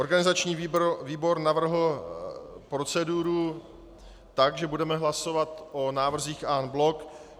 Organizační výbor navrhl proceduru tak, že budeme hlasovat o návrzích en bloc.